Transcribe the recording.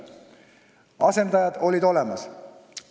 Asendajad olid olemas.